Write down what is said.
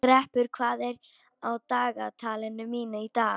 Greppur, hvað er á dagatalinu mínu í dag?